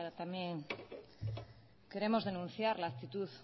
también queremos denunciar la actitud